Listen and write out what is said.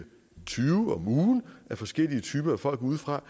tyve forskellige typer af folk udefra